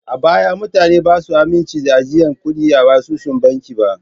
A baya mutane ba su amince da ajiyan kuɗi a asusun banki ba.